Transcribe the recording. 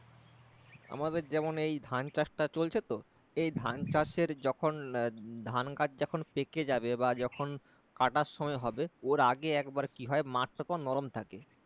আমাদের যেমন ওই ধান চাষ টা চলছে তো এই ধান চাষের যখন এর যখন ধান গাছ যখন পেকে যাবে বা যখন কাটার সময় হবে ওর আগে একবার কি হয় মাঠ টা নরম থাকে